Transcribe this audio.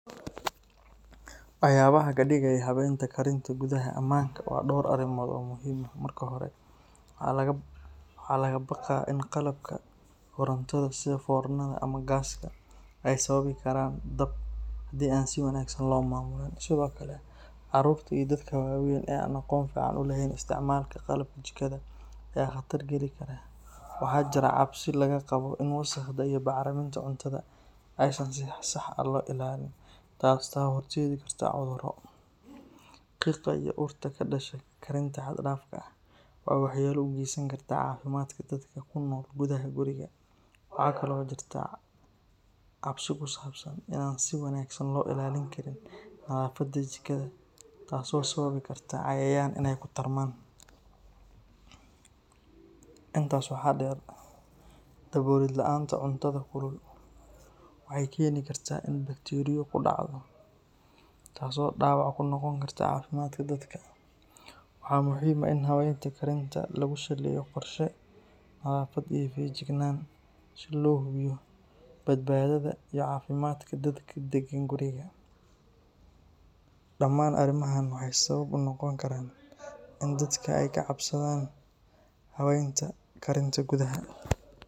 Waxyaabaha kadigay habaynta karinta gudaha amaanka waa dhowr arrimood oo muhiim ah. Marka hore, waxaa laga baqaa in qalabka korontada sida foornada ama gas-ka ay sababi karaan dab hadii aan si wanaagsan loo maamulin. Sidoo kale, carruurta iyo dadka waaweyn ee aan aqoon fiican u lahayn isticmaalka qalabka jikada ayaa khatar geli kara. Waxaa jira cabsi laga qabo in wasakhda iyo bacriminta cuntada aysan si sax ah loo ilaalin taasoo horseedi karta cudurro. Qiiqa iyo urta ka dhasha karinta xad-dhaafka ah waxay waxyeelo u geysan kartaa caafimaadka dadka ku nool gudaha guriga. Waxaa kale oo jirta cabsi ku saabsan in aan si wanaagsan loo ilaalin karin nadaafadda jikada taasoo sababi karta cayayaan inay ku tarmaan. Intaas waxaa dheer, daboolid la’aanta cuntada kulul waxay keeni kartaa in bakteeriyo ku dhacdo, taasoo dhaawac ku noqon karta caafimaadka dadka. Waxaa muhiim ah in habaynta karinta lagu saleeyo qorshe, nadaafad iyo feejignaan si loo hubiyo badbaadada iyo caafimaadka dadka deggan guriga. Dhammaan arrimahan waxay sabab u noqon karaan in dadka ay ka cabsadaan habaynta karinta gudaha.